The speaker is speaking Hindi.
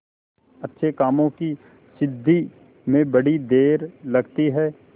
अच्छे कामों की सिद्धि में बड़ी देर लगती है